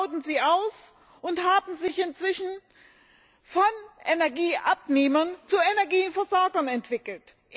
Sie bauten sie aus und haben sich inzwischen von Energieabnehmern zu Energieversorgern entwickelt.